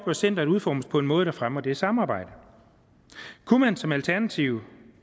centret udformes på en måde der fremmer det samarbejde kunne man som alternativ